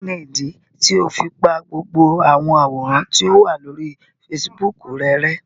Kini idi tio fi pa gbogbo awọn aworan to wa lori Fèsìbúukù rẹ rẹ̀?